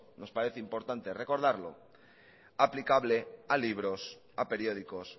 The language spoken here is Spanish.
nos parece importante recordarlo aplicable a libros a periódicos